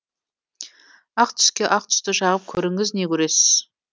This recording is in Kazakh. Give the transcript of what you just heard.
ақ түске ақ түсті жағып көріңіз не көресіз